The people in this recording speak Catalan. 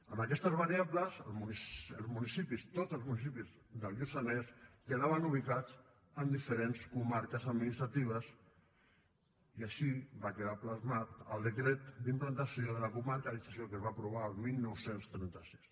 amb aquestes variables els municipis tots els municipis del lluçanès quedaven ubicats en diferents comarques administratives i així va quedar plasmat al decret d’implantació de la comarcalització que es va aprovar el dinou trenta sis